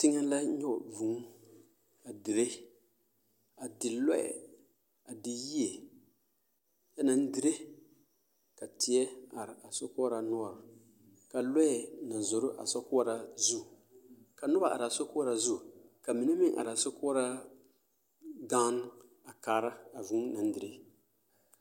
Teŋe la nyɔge vūū a dire a di lure a di yie a naŋ dire ka tie are sokɔɔra noɔre ka lure naŋ zoro a sokɔɔra zu ka noba are a sokɔɔra zu ka mine meŋ are a sokɔɔra gaŋne a kaara a vūū naŋ dire.